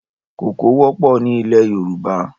Koko wọpọ̀ ni ilẹ̀ Yoruba